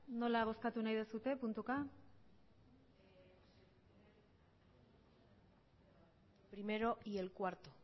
nola bozkatu nahi duzue puntuka el primero y el cuarto